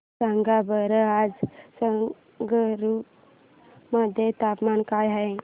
सांगा बरं आज संगरुर मध्ये तापमान काय आहे